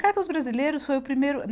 A Carta aos Brasileiros foi o primeiro.